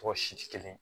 Tɔ si tɛ kelen ye